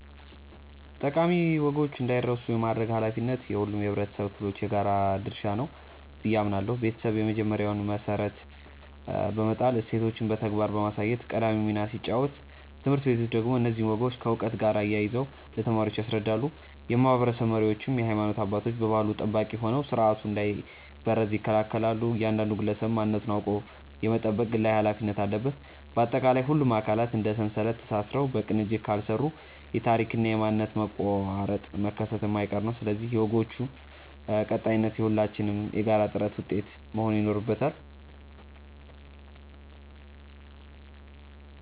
ጠቃሚ ወጎች እንዳይረሱ የማድረግ ኃላፊነት የሁሉም የኅብረተሰብ ክፍሎች የጋራ ድርሻ ነው ብዬ አምናለሁ። ቤተሰብ የመጀመሪያውን መሠረት በመጣልና እሴቶችን በተግባር በማሳየት ቀዳሚውን ሚና ሲጫወት፣ ትምህርት ቤቶች ደግሞ እነዚህን ወጎች ከዕውቀት ጋር አያይዘው ለተማሪዎች ያስረዳሉ። የማኅበረሰብ መሪዎችና የሃይማኖት አባቶች የባሕሉ ጠባቂ ሆነው ሥርዓቱ እንዳይበረዝ ይከላከላሉ፤ እያንዳንዱ ግለሰብም ማንነቱን አውቆ የመጠበቅ ግላዊ ኃላፊነት አለበት። ባጠቃላይ፣ ሁሉም አካላት እንደ ሰንሰለት ተሳስረው በቅንጅት ካልሠሩ የታሪክና የማንነት መቋረጥ መከሰቱ የማይቀር ነው፤ ስለዚህ የወጎች ቀጣይነት የሁላችንም የጋራ ጥረት ውጤት መሆን ይኖርበታል።